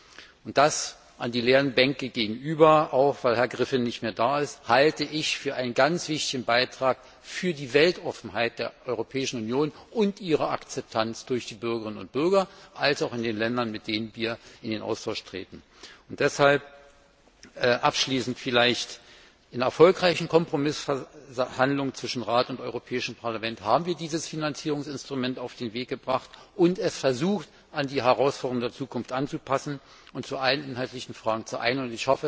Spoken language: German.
Zu den leeren Bänken gegenüber, auch weil Herr Griffin nicht mehr da ist, sage ich Das halte ich für einen ganz wichtigen Beitrag für die Weltoffenheit der Europäischen Union und ihre Akzeptanz sowohl durch die Bürgerinnen und Bürger der EU als auch in den Ländern, mit denen wir in Austausch treten. Deshalb abschließend In erfolgreichen Kompromissverhandlungen zwischen Rat und Europäischem Parlament haben wir dieses Finanzierungsinstrument auf den Weg gebracht und versucht, es an die Herausforderungen der Zukunft anzupassen und uns in allen inhaltlichen Fragen zu einigen.